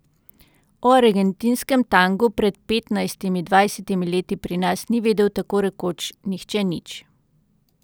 O argentinskem tangu pred petnajstimi, dvajsetimi leti pri nas ni vedel tako rekoč nihče nič.